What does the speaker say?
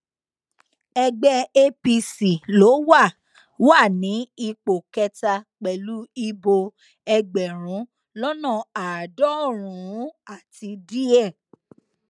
ẹgbẹ apc ló wà wà ní ipò kẹta pẹlú ìbò ẹgbẹrún lọnà àádọrùnún àti díẹ